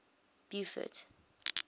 beaufort